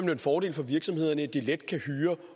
er en fordel for virksomhederne at de let kan hyre